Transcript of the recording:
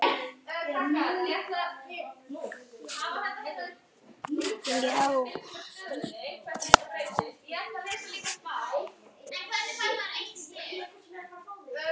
Má ég vera hjá ykkur?